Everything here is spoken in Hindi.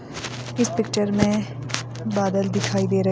इस पिक्चर में बादल दिखाई दे रहे--